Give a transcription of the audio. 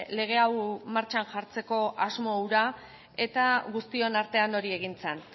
lege hau martxan jartzeko asmo hura eta guztion artean hori egin zen